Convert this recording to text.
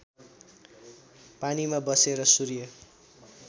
पानीमा बसेर सूर्य